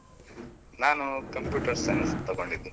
ನಾನು computer science ತಗೊಂಡಿದ್ದು.